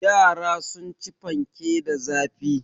Yara sun ci fanke da zafi.